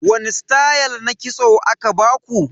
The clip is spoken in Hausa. Wani stayal na kitso aka baku?